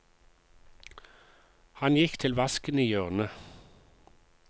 Han gikk til vasken i hjørnet.